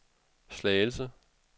Slagelse